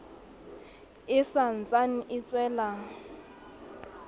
e sa ntsane e tswela